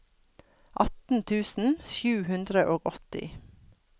atten tusen sju hundre og åtti